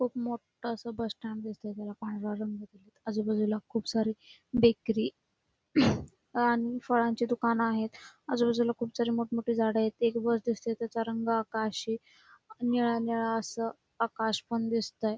खुप मोठ अस बस स्टँड दिसतय त्याला पांढरा रंग दिलेत आजूबाजूला खुप सारी बेकरी फळाची दुकान आहेत आजूबाजूला खुप सारी मोठ मोठी झाड आहेत एक बस दिसतय तेच रंग आकाशी निळा निळा असं आकाश पण दिसतंय.